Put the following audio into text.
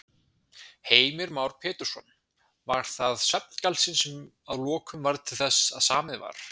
Heimir Már Pétursson: Var það svefngalsinn sem að lokum varð til þess að samið var?